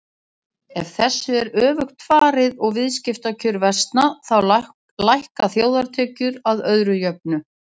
Ef þessu er öfugt farið og viðskiptakjör versna þá lækka þjóðartekjur að öðru jöfnu.